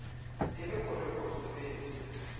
e le gore o tsofetse